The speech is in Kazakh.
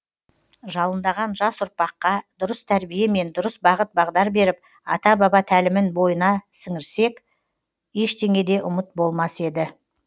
жалындаған жас ұрпаққа дұрыс тәрбие мен дұрыс бағыт бағдар беріп ата баба тәлімін бойына сіңірсекунд ештеңеде ұмыт болмас еді